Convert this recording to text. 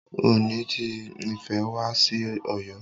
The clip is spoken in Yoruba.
Ooni ti Ifẹ̀ wá sí Ọ̀yọ́.